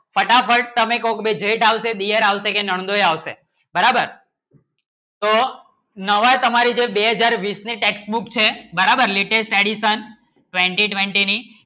ફટાફટ તમે કોક મેં જેઠ આવશે દેવર આવશે કે નંદોઈ આવશે બરાબર તો નવા તમારી જે બે હાજર બીસ ની Test book છે બરાબર Latest Addition Twenty-Twenty ની